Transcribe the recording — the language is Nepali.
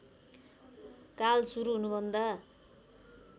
काल सुरु हुनुभन्दा